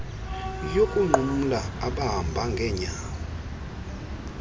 yokunqumla abahamba ngeenyawo